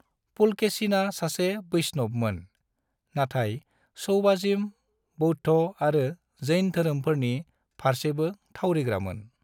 पुलकेशिना सासे वैष्णवमोन, नाथाय शैवाजिम, बौद्ध आरो जैन धोरोमफोरनि फारसेबो थावरिग्रामोन।